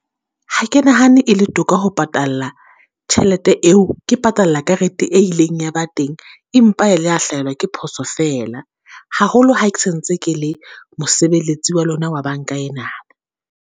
Ha ke nahane e le toka ho patalla tjhelete eo, ke patalla karete e ileng ya ba teng empa e le ya hlahelwa ke phoso fela. Haholo ha ke sa ntse ke le mosebeletsi wa lona wa banka ena.